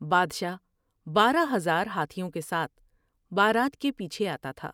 بادشاہ بارہ ہزار ہاتھیوں کے ساتھ بارات کے پیچھے آتا تھا ۔